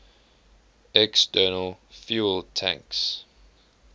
external fuel tanks